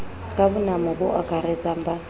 ka bonamo bo akaratsang ba